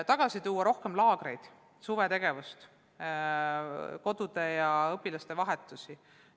On vaja korraldada laagreid, suvetegevust, kodude külastusi ja õpilaste vahetusi.